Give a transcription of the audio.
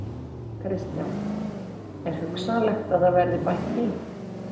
Kristján: Er hugsanlegt að það verði bætt í?